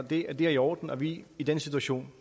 det er i orden at vi i den situation